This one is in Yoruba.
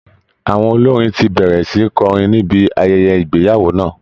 Àwọn olórin ti bẹ̀rẹ̀ sí kọrin níbi ayẹyẹ ìgbeyàwó náà